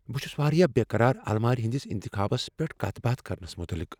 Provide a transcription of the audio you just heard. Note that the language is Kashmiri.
بہٕ چھس واریاہ بیقرار المارۍ ہندس انتخابس پیٹھ کتھ باتھ کرنس متعلق۔